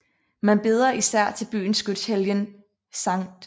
Man beder især til byens skytshelgen St